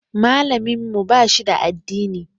Malamin mu ba shi da addini.